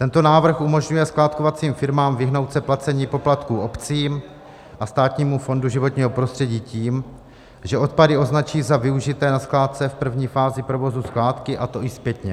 Tento návrh umožňuje skládkovacím firmám vyhnout se placení poplatků obcím a Státnímu fondu životního prostředí tím, že odpady označí za využité na skládce v první fázi provozu skládky, a to i zpětně.